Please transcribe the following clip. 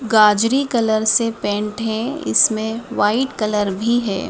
गाजरी colour से paint है इसमें व्हाइट कलर भी है।